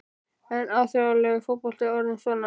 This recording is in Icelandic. Er alþjóðlegur fótbolti orðinn svona?